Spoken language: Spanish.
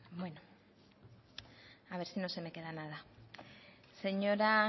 beno a ver si no se me queda nada señora